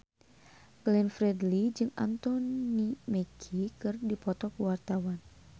Glenn Fredly jeung Anthony Mackie keur dipoto ku wartawan